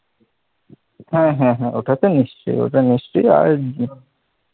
হ্যাঁ হ্যাঁ হ্যাঁ ওটা তো নিশ্চয় ওটা নিশ্চয়, আর